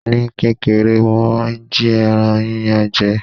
Ní kékeré, mo máa ń jí ẹran yíyan je.